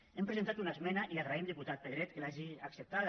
hi hem presentat una esmena i li agraïm diputat pedret que l’hagi acceptada